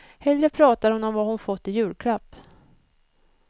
Hellre pratar hon om vad hon fått i julklapp.